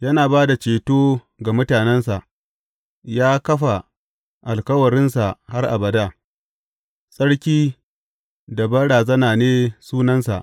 Yana ba da ceto ga mutanensa; ya kafa alkawarinsa har abada, tsarki da banrazana ne sunansa.